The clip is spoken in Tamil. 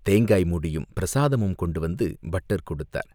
தேங்காய் மூடியும், பிரசாதமும் கொண்டு வந்து பட்டர் கொடுத்தார்.